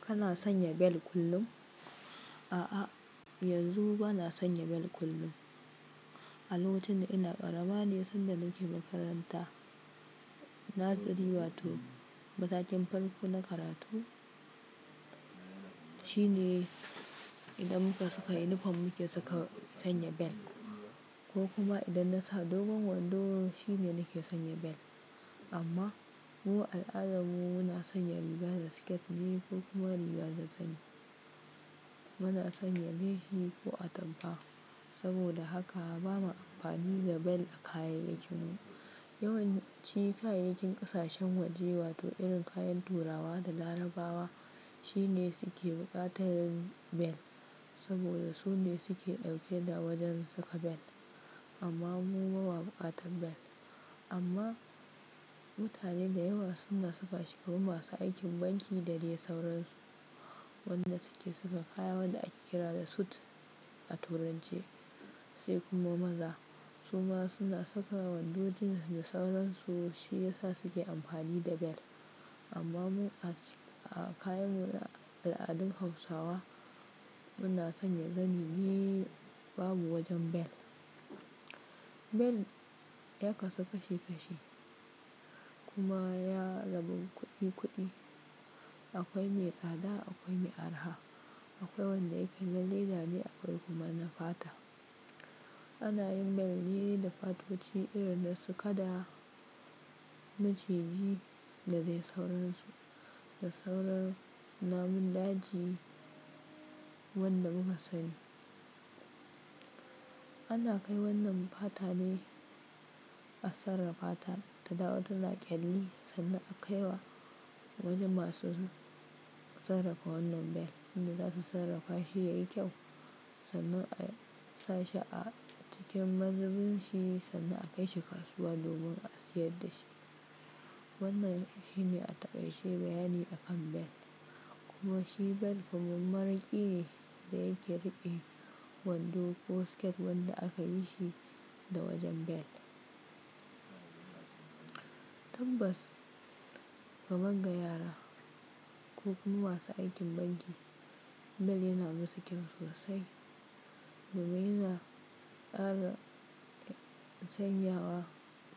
Kana sanya bel kullum? A'a, yanzu bana sanya bel kullum. Alokacin da ina ƙarama ne sanda nake makaranta. Naziri wato matakin farko na karatu shine idan muka saka uniform muke saka, sanya bel ko kuma idan na sa dogon wondo shine nake sanya bel. Amma mu al'adarmu na sanya riga da siket ne ko kuma riga da zani. Bana sanya leci ko a tampa saboda haka ba ma amfani da bel a kayayyakinmu. Yawanci kayayyakin ƙasashen waje wato irin kayan turawa da larabawa shine suke buƙatar bel saboda su ne suke dauke da wojen saka bel amma mu ba mu buƙatar bel. Amma mutane da yawa suna saka shi kaman masu aikin banki da dai sauransu wanda suke saka kaya wadda ake kira da suit a turance sai kuma maza suma suna saka wando jins da sauransu shi yasa suke amfani da bel. Amma mu a kayanmu na al'adun Hausawa muna sanya zani biyu babu wojen bel. Bel ya kasu kashi kashi kuma ya rabu kuɗi kuɗi. Akwai mai tsada akwai mai arha. Akwai wanda yake na leda ne akoi kuma na pata. Ana yin bel ne da patoci irin na su kada maciji da dai sauransu da sauran namun daji wanda muka sani. Ana kai wannan pata ne a sarrafa ta ta dawo tana ƙyalli sannan a kai wa wojen masu sarrafa wannan bel wanda zasu sarrafa shi yayi kyau sannan a sa shi a cikin mazubin shi sannan a kai shi kasuwa domin a sayar da shi. Wannan shine a taƙaice bayani akan bel kuma shi bel kaman mara ƙi ne da yake riƙe wondo ko siket wanda aka yi shi da wojen bel. Tabbas ga magga yara ko kuma masu aikin banki bel yana musu kyau sosai domin yana ƙara sanyawa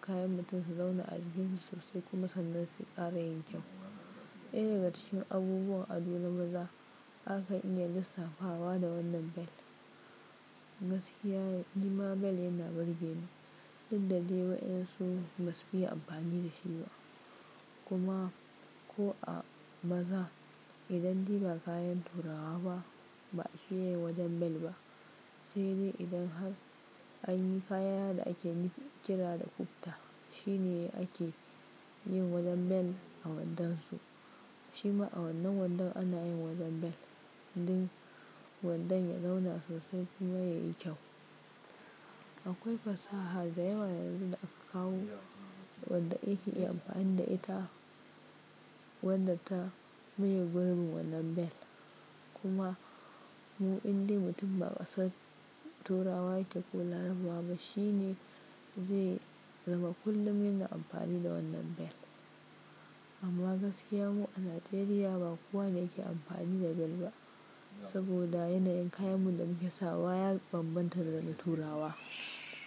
kayan mutum su zauna a jikin shi sosai kuma sannan sai ƙara yin kyau. Ɗaya daga cikin abubuwan ado na maza akan iya lissafawa da wannan bel. Gaskiya nima bel yana burgeni duk da dai waɗan su ba su fiye amfani da shi ba kuma ko a maza idan dai kayan turawa ba fiye yin wojen bel ba. Sai dai idan har anyi kaya da aka kira da kubta shine ake yin wojen bel a wondansu. Shi ma a wannan wondon ana yin wojen bel don wondon ya zauna sosai kuma yayi kyau. Akoi fasaha da yawa yanzu da aka kawo wanda ake iya amfani da ita wanda ta mu a gurin wannan bel kuma mu indai mutum ba kasan turawa yatafi ko larabawa ba shi ne zai zama kullum yana amfani da wannan bel. Amma gaskiya mu a Najeriya ba kowa ne yake amfani da bel ba saboda yanayin kayanmu da muke sawa ya bambanta da na turawa.